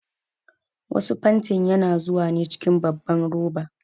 Wasu fantin yana zuwa ne cikin babban roba.